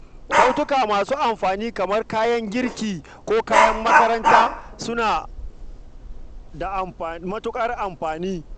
Kyaututtuka masu amfani kamar kayan girki ko kayan makaranta suna da matuƙar amfani.